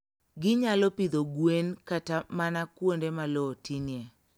Ginyalo pidho gwen kata mana kuonde ma lowo tinie.